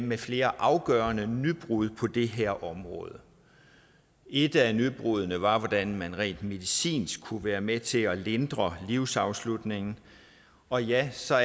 med flere afgørende nybrud på det her område et af nybruddene var et hvordan man rent medicinsk kunne være med til at lindre livsafslutningen og ja så